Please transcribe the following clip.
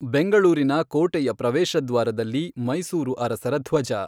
ಬೆಂಗಳೂರಿನ ಕೋಟೆಯ ಪ್ರವೇಶದ್ವಾರದಲ್ಲಿ ಮೈಸೂರು ಅರಸರ ಧ್ವಜ.